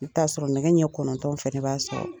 I bi t'a sɔrɔ nɛgɛ ɲɛ kɔnɔntɔn fɛnɛ b'a sɔrɔ